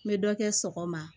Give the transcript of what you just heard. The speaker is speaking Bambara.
N bɛ dɔ kɛ sɔgɔma